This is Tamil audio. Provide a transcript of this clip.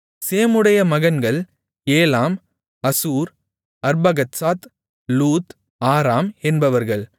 சேமுடைய மகன்கள் Elam Asshur Arphaxad Lud Aram என்பவர்கள்